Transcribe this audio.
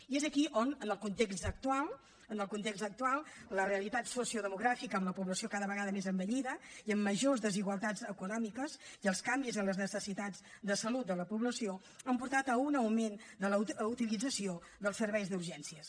i és aquí on en el context actual la realitat sociodemogràfica amb la població cada vegada més envellida i amb majors desigualtats econòmiques i els canvis en les necessitats de salut de la població han portat a un augment de la utilització dels serveis d’urgències